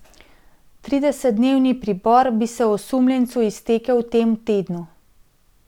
Tridesetdnevni pripor bi se osumljencu iztekel v tem tednu.